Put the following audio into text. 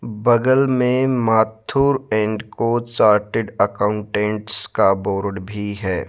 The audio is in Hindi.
बगल में Mathur and Co chartered accountants का बोर्ड भी है।